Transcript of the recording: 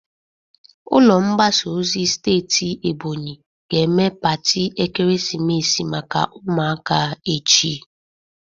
Ụlọ mgbasa ozi steeti Ebonyi ga-eme pati ekeresimesi maka ụmụaka echi.